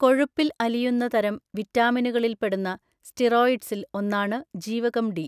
കൊഴുപ്പിൽ അലിയുന്ന തരം വിറ്റാമിനുകളിൽ പെടുന്ന സ്റ്റിറോയ്ഡ്‌സിൽ ഒന്നാണ് ജീവകം ഡി.